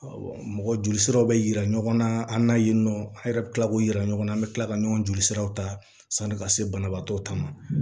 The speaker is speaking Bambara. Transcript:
mɔgɔ jolisiraw be yira ɲɔgɔn na an na yen nɔ an yɛrɛ bɛ tila k'u yira ɲɔgɔnna an be kila ka ɲɔgɔn jolisiraw ta sanni ka se banabaatɔ ta ma